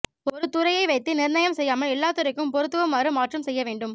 ஒரு துறையை வைத்து நிர்ணயம் செய்யாமல் எல்லா துறைக்கும் பொருத்துவமாறு மாற்றும் செய்ய வேண்டும்